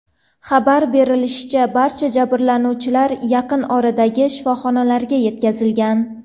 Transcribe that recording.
Xabar berishlaricha, barcha jabrlanuvchilar yaqin oradagi shifoxonalarga yetkazilgan.